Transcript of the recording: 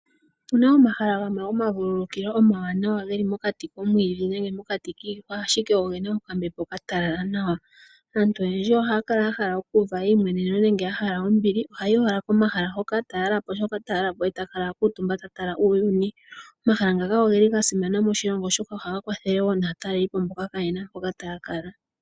Opu na omahala gamwe gomavululukilo omawanawa ge li mokati komwiidhi nenge mokati kiihwa ashike oge na okambepo okatalala nawa aantu oyendji ohaya kala ya hala okuuva eyimweneneno nenge ya hala okuuva ombili ohayi owala komahala hoka ta yalapo shoka ta yalapo e takala akutumba ta tala uuyuni. Omahala ngaka oge li ga simana moshilongo oshoka ohaga kwathele wo naatalelipo mboka kayena mpoka taya kala.